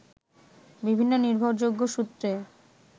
বিভিন্ন নির্ভরযোগ্য সূত্রে